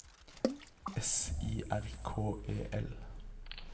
S I R K E L